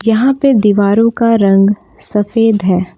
यहां पे दीवारों का रंग सफेद है।